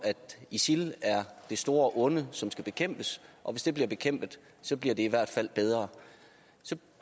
isil er det store onde som skal bekæmpes og hvis det bliver bekæmpet bliver det i hvert fald bedre